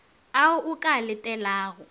ao o ka a letelago